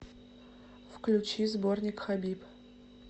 включи сборник хабиб